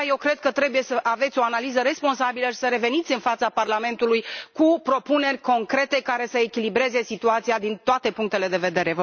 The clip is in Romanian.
De aceea, eu cred că trebuie să aveți o analiză responsabilă și să reveniți în fața Parlamentului cu propuneri concrete care să echilibreze situația din toate punctele de vedere.